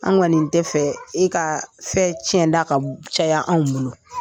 An kɔni nin tɛ fɛ e ka fɛn tiɲɛ da ka caya anw bolo.